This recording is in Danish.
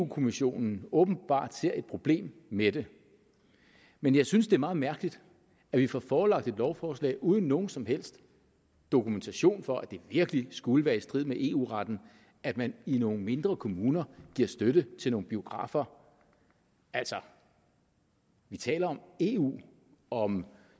kommissionen åbenbart ser et problem med det men jeg synes det er meget mærkeligt at vi får forelagt et lovforslag uden nogen som helst dokumentation for at det virkelig skulle være i strid med eu retten at man i nogle mindre kommuner giver støtte til nogle biografer altså vi taler om eu om